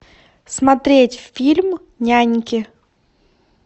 смотреть фильм няньки